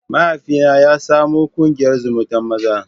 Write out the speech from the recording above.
Mahaifina shi ya samo ƙungiyar zumuntan maza.